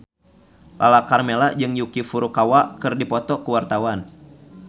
Lala Karmela jeung Yuki Furukawa keur dipoto ku wartawan